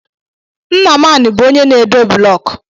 Nnamani bụ onye na-edoo blọk